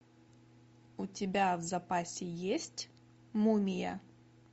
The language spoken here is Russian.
у тебя в запасе есть мумия